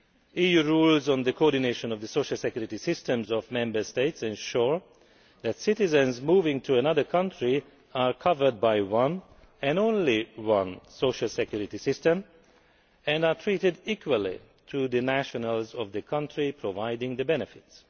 EU rules on the coordination of the social security systems of Member States ensure that citizens moving to another country are covered by one and only one social security system and receive the same treatment as the nationals of the country providing the benefits.